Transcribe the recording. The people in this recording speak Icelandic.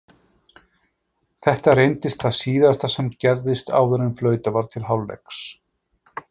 Þetta reyndist það síðasta sem gerðist áður en flautað var til hálfleiks.